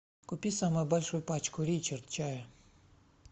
купи самую большую пачку ричард чая